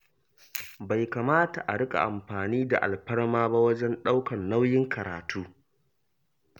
Bai kamata a riƙa amfani da alfarma ba wajen ɗaukar nauyin karatu.